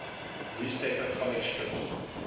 newspaper comic strips